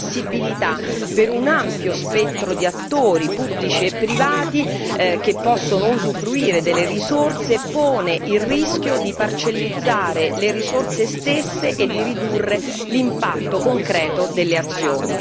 L'accessibilità per un ampio spettro di attori pubblici e privati che possono usufruire delle risorse pone il rischio di parcellizzare le risorse stesse e di ridurre l'impatto concreto delle azioni.